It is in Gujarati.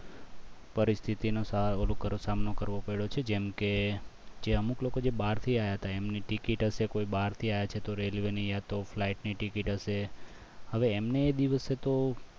પરિસ્થિતિનો સામનો કરવો પડ્યો છે જેમ કે જે અમુક લોકો બહાર થી આવ્યા તા એમની ticket હશે કોઈ બહારથી આવ્યા છે તો railway ની ય તો flight ની ticket હશે હવે એમને એ દિવસે તો